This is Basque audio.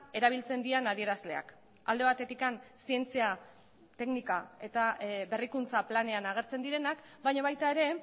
erabiltzen diren adierazleak alde batetik zientzia teknika eta berrikuntza planean agertzen direnak baina baita ere